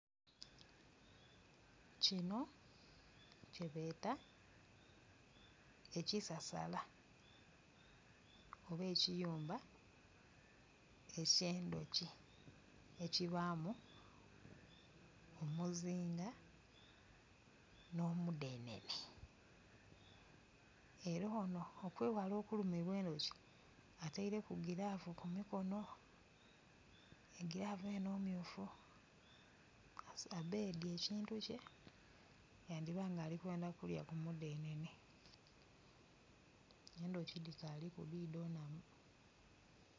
Kino kyebeeta ekisasala oba ekiyumba eky'endhoki ekibamu omuzinga n'omudhenene, era ono okweghala okulumibwa endhoki ateireki gilavu ku mikono egilavu eno mmyufu, abedhye ekintu kye yandiba nga ayenda ku lya ku mudhenene, endhoki dhikaliku dhidho nnamu.